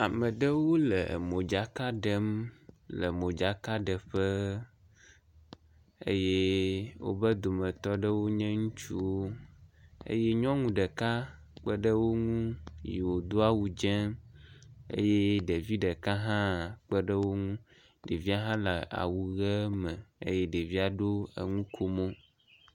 Ame ɖewo le modzaka ɖem le modzaka ɖeƒe eye woƒe dometɔ aɖewo nye ŋutsuwo eye nyɔnu ɖeka kpe ɖe wo ŋu yi wodo awu dzɛ̃ eye ɖevi ɖeka hã kpe ɖe wo ŋu. Ɖevia hã le awu ʋi me eye ɖevia ɖo enukomo.